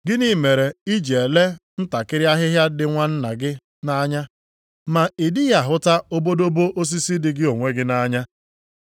“Gịnị mere i ji elee ntakịrị ahịhịa dị nwanna gị nʼanya, ma ị dịghị ahụta obodobo osisi dị gị onwe gị nʼanya?